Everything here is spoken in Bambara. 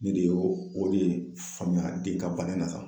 Ne de ye o de faamuya den ka bana na ka